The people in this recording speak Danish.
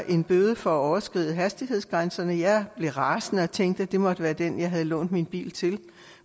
en bøde for at overskride hastighedsgrænserne jeg blev rasende og tænkte at det måtte være den jeg havde lånt min bil